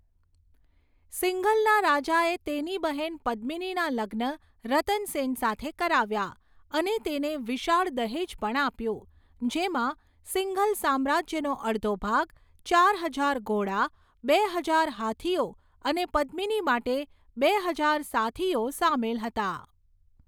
સિંઘલના રાજાએ તેની બહેન પદ્મિનીના લગ્ન રતન સેન સાથે કરાવ્યા અને તેને વિશાળ દહેજ પણ આપ્યું જેમાં સિંઘલ સામ્રાજ્યનો અડધો ભાગ, ચાર હજાર ઘોડા, બે હજાર હાથીઓ અને પદ્મિની માટે બે હજાર સાથીઓ સામેલ હતા.